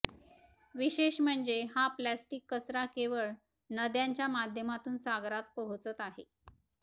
विशेष म्हणजे हा प्लास्टिक कचरा केवळ नद्यांच्या माध्यमातून सागरात पोहोचत आहे